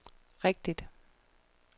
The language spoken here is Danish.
rigtigt